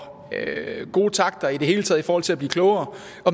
gode takter i det hele taget i forhold til at blive klogere